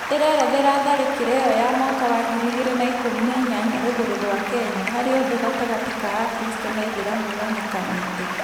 ĩrerethera tharĩkĩra ĩyo ya mwaka wa ngiri igĩrĩ na ikũmi na inya rũgũrrũ rwa kenya harĩa ũthũ gatagatĩ ka akristo na aĩthĩramũ wonekanĩte